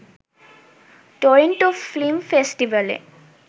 Toronto film ফেস্টিভ্যালে